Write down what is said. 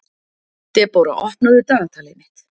Debóra, opnaðu dagatalið mitt.